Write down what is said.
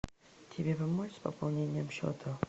тебе помочь с пополнением счета